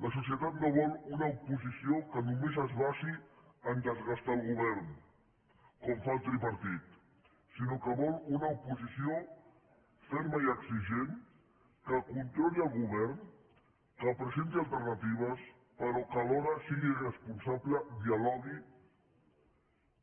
la societat no vol una oposició que només es basi a desgastar el govern com fa el tripartit sinó que vol una oposició ferma i exigent que controli el govern que presenti alternatives però que alhora sigui responsable dialogui